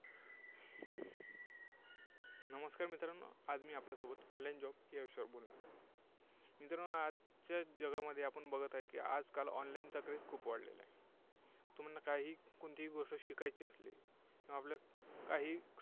नमस्कार मित्रांनो आज मी आपल्यासोबत online job या विषयावर बोलणार आहे. मित्रांनो आजच्या जगामध्ये आपण बघत आहे की आजकाल online चा Craze खूप वाढलेलं आहे. तुम्हाला काहीही कोणतीही गोष्ट शिकायची असली तेव्हा आपल्याला काही